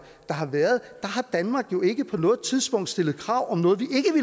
der har været har danmark jo ikke på noget tidspunkt stillet krav om noget